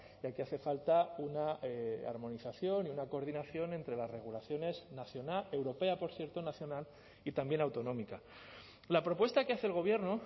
ya que hace falta una armonización y una coordinación entre las regulaciones nacional europea por cierto nacional y también autonómica la propuesta que hace el gobierno